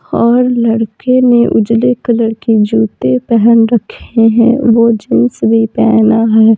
और लड़के ने उजले कलर की जूते पहन रखे हैं वो जींस भी पेहना है।